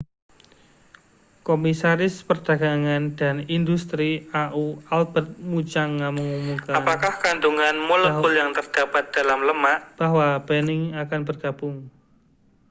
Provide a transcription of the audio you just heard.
komisaris perdagangan dan industri au albert muchanga mengumumkan bahwa benin akan bergabung